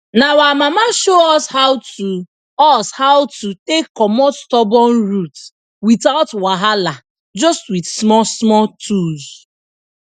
na our mama show us how to us how to take comot stubborn root without wahala just with smallsmall tools